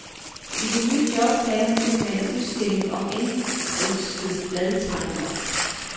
I det nye job lagde han ud med en udstilling om indenrigske bladtegnere.